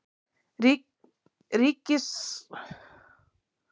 Ríkismarskálkurinn svífur um loftin einsog hann sé gjörsamlega áhyggjulaus um afdrif sín.